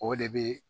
O de bɛ